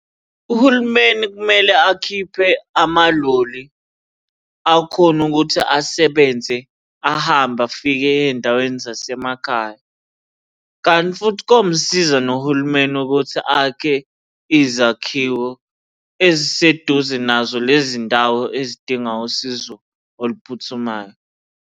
Uhulumeni kumele akhiphe amaloli, akhone ukuthi asebenze ahambe afike ey'ndaweni zasemakhaya, kanti futhi komsiza nohulumeni ukuthi akhe izakhiwo eziseduze nazo lezi ndawo ezidinga usizo oluphuthumayo.